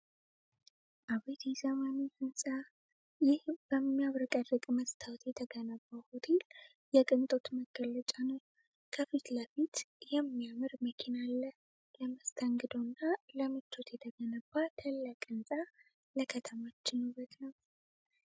አቤት የዘመኑ ሕንፃ! ይህ በሚያብረቀርቅ መስታወት የተገነባው ሆቴል የቅንጦት መገለጫ ነው! ከፊት ለፊቱ የሚያምር መኪና አለ! ለመስተንግዶና ለምቾት የተገነባ ታላቅ ሕንፃ! ለከተማችን ውበት ነው!